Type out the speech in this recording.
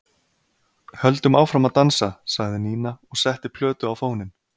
Höldum áfram að dansa, sagði Nína og setti plötu á fóninn.